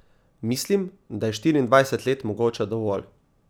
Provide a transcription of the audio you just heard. Mislim, da je štiriindvajset let mogoče dovolj.